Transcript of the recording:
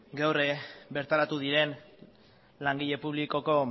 gaur bertaratu diren langile publikoko